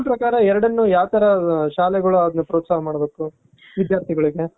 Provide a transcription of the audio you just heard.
ನಿಮ್ ಪ್ರಕಾರ ಎರಡನ್ನು ಯಾವ ತರ ಶಾಲೆಗಳು ಪ್ರೋತ್ಸಾಹ ಮಾಡ್ಬೇಕು ವಿಧ್ಯಾರ್ಥಿಗಳಿಗೆ .